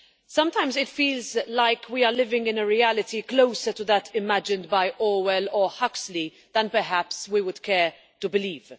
Sometimes it feels like we are living in a reality closer to that imagined by Orwell or Huxley than perhaps we would care to believe.